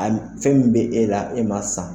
A fɛn min bɛ e la e ma san